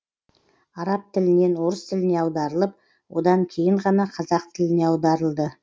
араб тілінен орыс тіліне аударылып одан кейін ғана қазақ тіліне аударылды